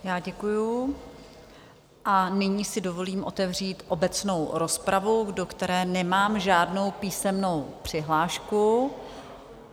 Já děkuju a nyní si dovolím otevřít obecnou rozpravu, do které nemám žádnou písemnou přihlášku.